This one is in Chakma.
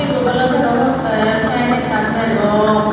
yot oley degongottey fan ekkan degong.